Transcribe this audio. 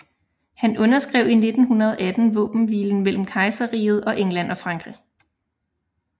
Han underskrev i 1918 våbenhvilen mellem Kejserriget og England og Frankrig